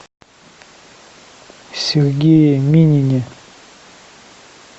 сергее минине